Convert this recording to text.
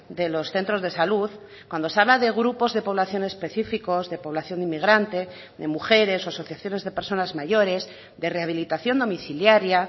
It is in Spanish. de los centros de salud cuando se habla de grupos de población específicos de población inmigrante de mujeres o asociaciones de personas mayores de rehabilitación domiciliaria